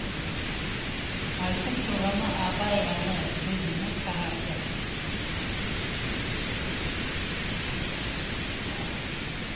айтып тұрғаны абай әні көзімнің қарасы